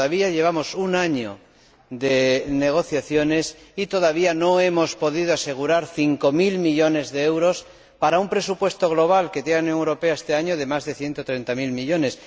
Llevamos un año de negociaciones y todavía no hemos podido asegurar cinco mil millones de euros, respecto de un presupuesto global de la Unión Europea que, este año, asciende a más de ciento treinta mil millones.